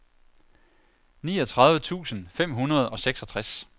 niogtredive tusind fem hundrede og seksogtres